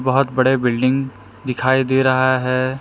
बहुत बड़े बिल्डिंग दिखाई दे रहा है।